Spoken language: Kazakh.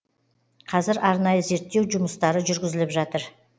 қазір арнайы зерттеу жұмыстары жүргізіліп жатыр